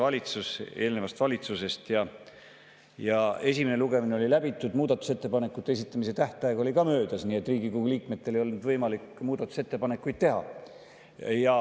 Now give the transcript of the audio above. Selle esimene lugemine oli läbi, muudatusettepanekute esitamise tähtaeg oli ka möödas, nii et Riigikogu liikmetel ei olnud võimalik muudatusettepanekuid teha.